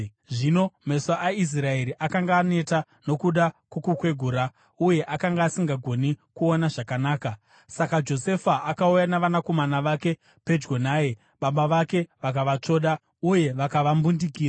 Zvino meso aIsraeri akanga aneta nokuda kwokukwegura, uye akanga asisagoni kuona zvakanaka. Saka Josefa akauya navanakomana vake pedyo naye, baba vake vakavatsvoda uye vakavambundikira.